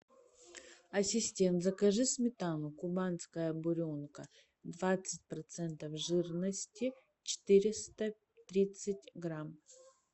ассистент закажи сметану кубанская буренка двадцать процентов жирности четыреста тридцать грамм